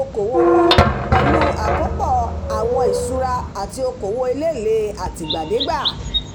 okòwò wọn pẹ̀lú àkópọ̀ àwọn ìṣúra àti okòwò elélèé àtìgbàdégbà